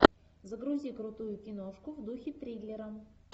загрузи крутую киношку в духе триллера